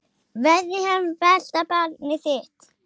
Verði hann besta barnið þitt.